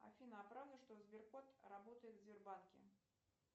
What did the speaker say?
афина а правда что сберкот работает в сбербанке